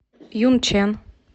юнчэн